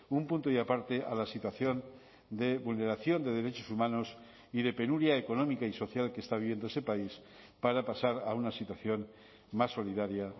un punto y aparte a la situación de vulneración de derechos humanos y de penuria económica y social que está viviendo ese país para pasar a una situación más solidaria